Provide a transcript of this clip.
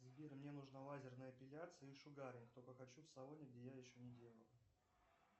сбер мне нужна лазерная эпиляция и шугаринг только хочу в салоне где я еще не делал